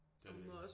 Det er det virkelig